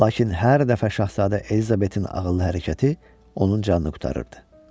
Lakin hər dəfə şahzadə Elizabetin ağıllı hərəkəti onun canını qurtarırdı.